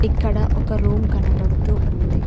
ఇక్కడ ఒక రూమ్ కనబడుతూ ఉంది.